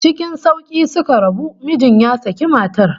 Ckin sauki suka rabu, mijin ya saki matar